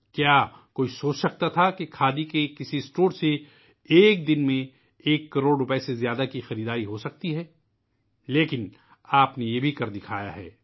کیا کوئی سوچ سکتا تھا کہ ایک کھادی کے کسی اسٹور سے ایک دن میں ایک کروڑ سے زیادہ کی فروخت ہو سکتی ہے! لیکن ، آپ نے یہ بھی کر دکھایا ہے